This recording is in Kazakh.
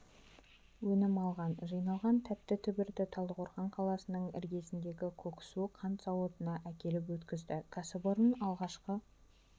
өнім алған жиналған тәтті түбірді талдықорған қаласының іргесіндегі көксу қант зауытына әкеліп өткізді кәсіпорын алғашқы